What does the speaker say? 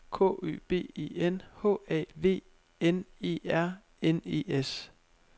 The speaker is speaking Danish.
K Ø B E N H A V N E R N E S